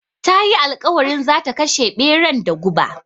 Ta yi alƙawarin zata kashe ɓeran da guba